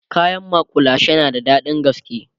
kayan makullashe na da daɗin gaske